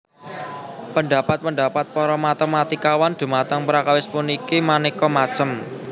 Pendhapat pendhapat para matématikawan dhumateng perkawis puniki manéka macem